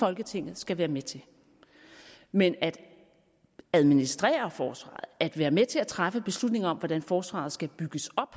folketinget skal være med til men at administrere forsvaret at være med til at træffe beslutninger om hvordan forsvaret skal bygges op